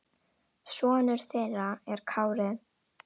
Sonur þeirra er Kári.